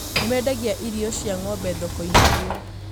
nimendagia irio cia ng'ombe thoko-inĩ ĩyo.